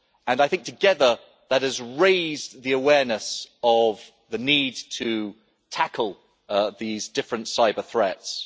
I think together, that has raised the awareness of the need to tackle these different cyber threats.